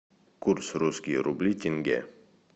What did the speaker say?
курс русские рубли тенге